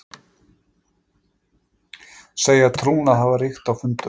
Segja trúnað hafa ríkt á fundunum